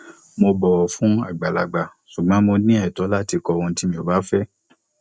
mo bọwò fún àgbàlagbà ṣùgbọn mo ní ètó láti kọ ohun tí mi ò bá fẹ